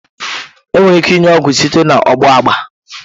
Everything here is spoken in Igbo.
Enwere ike inye ọgwụ site na ọgbụgba.